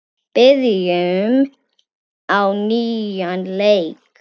Byrjum á nýjan leik.